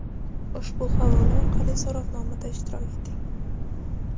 Ushbu havola orqali so‘rovnomada ishtirok eting.